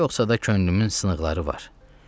Yoxsa da könlümün sınıqları var.